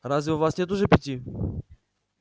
разве у вас нет уже пяти